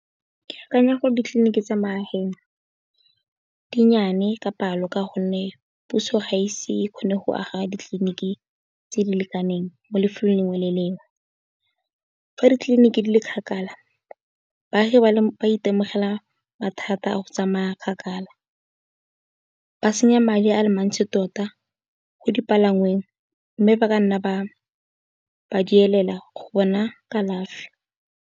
Ke akanya gore ditliliniki tsa magaeng dinnyane ka palo ka gonne, puso ga ise e kgone go aga ditliliniki tse di lekaneng mo lefelong le lengwe le le lengwe. Fa ditliliniki di le kgakala baagi ba itemogela mathata a go tsamaya kgakala ba senya madi a le mantsi tota go dipalangweng mme, ba ka nna ba ba duelela go bona kalafi.